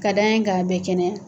Ka d'a ka a bɛ kɛnɛya.